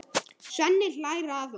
Svenni hlær að honum.